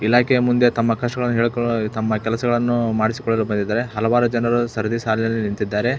ಇಲಾಖೆಯ ಮುಂದೆ ತಮ್ಮ ಕಷ್ಟಗಳನ್ನು ಹೇಳಿಕೊಳ್ಳಲು ತಮ್ಮ ಕೆಲಸಗಳನ್ನು ಮಾಡಿಸಿ ಕೊಳ್ಳಲು ಬಂದಿದ್ದಾರೆ ಹಲವಾರು ಜನರು ಸರದಿ ಸಾಲಿನಲ್ಲಿ ನಿಂತ್ತಿದ್ದಾರೆ.